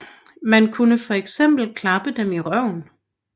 Man kunne fx klappe dem i røven